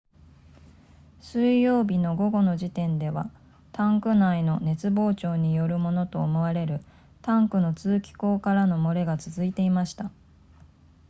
水曜日の午後の時点ではタンク内の熱膨張によるものと思われるタンクの通気孔からの漏れが続いていました